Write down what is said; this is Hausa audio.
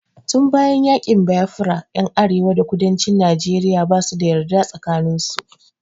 Tun bayan yaƙin Biafra ƴan arewa da kudancin Najeriya basu da yarda tsakanin su.